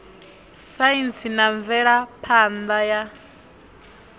saintsi na mvelaphan ḓa ya